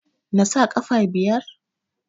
Nasa ƙafa biyar?